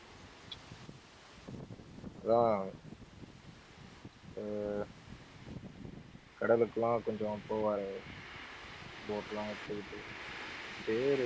அதான் எர் கடலுக்கு எல்லாம் கொஞ்சம் போவாரே boat லாம் எடுத்துக்கிட்டு அவர் பேரு